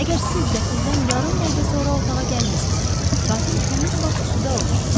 Əgər siz qatildən yarım dəqiqə sonra otağa gəlmisinizsə, qatil həmin vaxt suda olmalı idi.